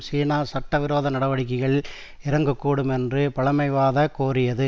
சீனா சட்டவிரோத நடவடிக்கைகளில் இறங்கக்கூடும் என்று பழமைவாத கோரியது